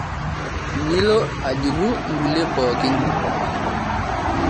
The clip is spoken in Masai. nilo ajurru nkulie pookin